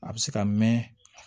A bɛ se ka mɛn